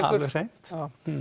alveg hreint